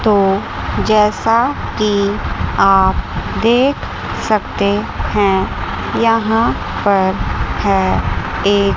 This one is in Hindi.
तो जैसा कि आप देख सकते हैं यहां पर है एक--